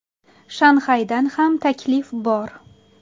Shanxaydan ham taklif bor.